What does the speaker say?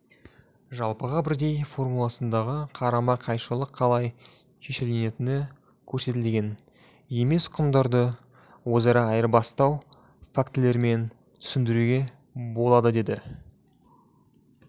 жалпыға бірдей формуласындағы қарама қайшылық қалай шешілетіні көрсетілген емес құндарды өзара айырбастау фактілерімен түсіндіруге болады деді